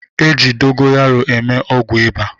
E ji dogoyaro eme ọgwụ ịba